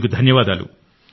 మీకు ధన్యవాదాలు